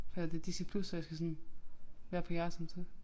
Hvad er det Disney+ så jeg skal sådan være på jeres samtidig